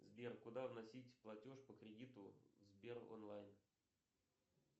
сбер куда вносить платеж по кредиту сбер онлайн